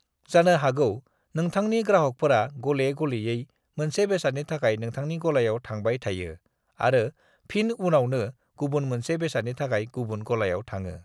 जानो हागौ नोंथांनि ग्राहकफोरा गले-गेलेयै मोनसे बेसादनि थाखाय नोंथांनि गलायाव थांबाय थायो आरो फिन उनावनो गुबुन मोनसे बेसादनि थाखाय गुबुन गलायाव थाङो।